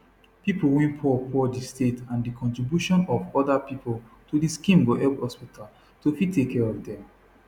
pipo wey poorpoor di state and di contribution of oda pipo to di scheme go help hospital to fit take care of dem